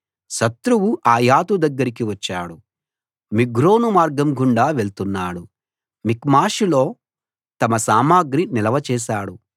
శత్రువు ఆయాతు దగ్గరికి వచ్చాడు మిగ్రోను మార్గంగుండా వెళ్తున్నాడు మిక్మషులో తమ సామగ్రి నిల్వ చేశాడు